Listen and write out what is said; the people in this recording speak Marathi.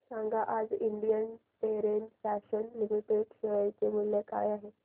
सांगा आज इंडियन टेरेन फॅशन्स लिमिटेड चे शेअर मूल्य काय आहे